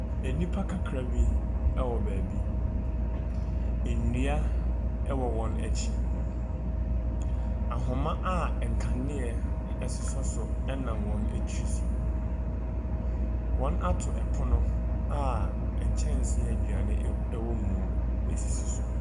Nnipa kakra bi wɔ baabi. Nnua wɔ wɔn akyi. Ahoma a nkanea sosɔ so nam wɔn tiri so. Wɔato pono a nkyɛnse a aduane w wɔ mu sisi so.